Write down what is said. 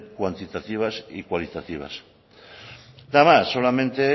cuantitativas y cualitativas nada más solamente